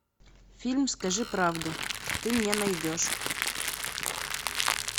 фильм скажи правду ты мне найдешь